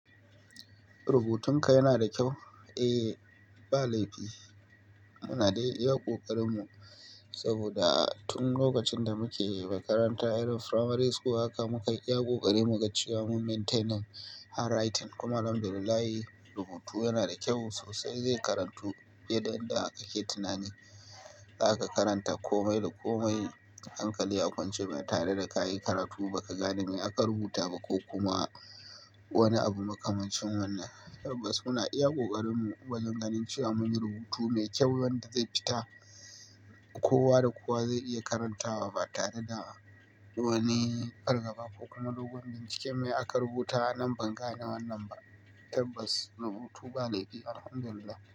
Rubutun ka yana da kyau? Eh, ba laifi. Muna dai iya kokarin mu saboda tun lokacin da muke makaranta, irin primary school haka muka iya kokari muga cewa mu maintain hand writing. Kuma Alhamdu lillahi rubutu yana da kyau sosai. Zai karantu fiyeda yadda kake tunani. Za ka karanta komai da komai hankali a kwance ba tare da ka yi karatu ba ka gane me aka rubuta ba ko kuma wani abu makamancin wannan. Tabbas muna iya kokarin mu wajen ganin cewa mun yi rubutu mai kyau wanda zai fita kowa da kowa zai iya karantawa ba tare da wani fargaba ko kuma doguwar binciken me aka rubuta. Nan ban gane wannan ba. Tabbas rubutu ba laifi Alhamdu lillahi.